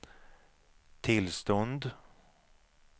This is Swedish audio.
tillstånd